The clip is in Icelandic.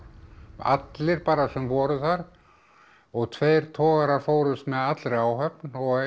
allir bara sem voru þar og tveir togarar fórust með allri áhöfn